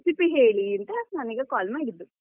Recipe ಹೇಳಿ ಅಂತ ನಾನ್ ಈಗ call ಮಾಡಿದ್ದು.